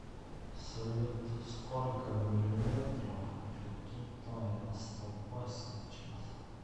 салют сколько миллиметров ртутная столба сейчас